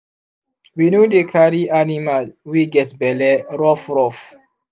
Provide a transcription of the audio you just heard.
we no dey carry aniamal wey get belle rough rough